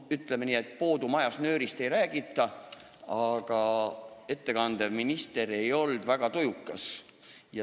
Ütleme nii, et poodu majas nöörist ei räägita, aga eelnõu ettekandev minister ei olnud väga jutukas.